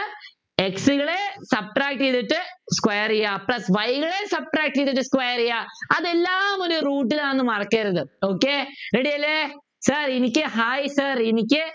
x കള് Subtract ചെയ്തിട്ട് square ചെയ്യാ plus y കള് Subtract ചെയ്തിട്ട് square ചെയ്യാ അതെല്ലാം ഒരു root ലാണ് മറക്കരുത് okay ready അല്ലെ sir എനിക്ക് hi sir